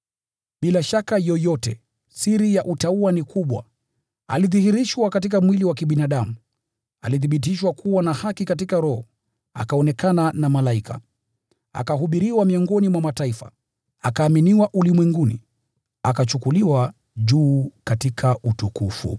Bila shaka yoyote, siri ya utauwa ni kubwa: Alidhihirishwa katika mwili wa kibinadamu, akathibitishwa kuwa na haki katika Roho, akaonekana na malaika, akahubiriwa miongoni mwa mataifa, akaaminiwa ulimwenguni, akachukuliwa juu katika utukufu.